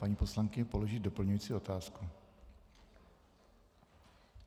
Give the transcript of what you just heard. Paní poslankyně položí doplňující otázku.